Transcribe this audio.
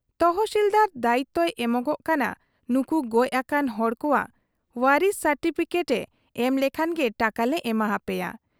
ᱛᱚᱦᱥᱤᱞᱫᱟᱨ ᱫᱟᱭᱤᱛᱚᱭ ᱮᱢᱚᱜᱚᱜ ᱠᱟᱱᱟ ᱱᱩᱠᱩ ᱜᱚᱡ ᱟᱠᱟᱱ ᱦᱚᱲ ᱠᱚᱣᱟᱜ ᱣᱟᱨᱤᱥᱤ ᱥᱟᱨᱴᱤᱯᱷᱤᱠᱮᱴ ᱮ ᱮᱢ ᱞᱮᱠᱷᱟᱱ ᱜᱮ ᱴᱟᱠᱟ ᱞᱮ ᱮᱢᱟ ᱦᱟᱯᱮᱭᱟ ᱾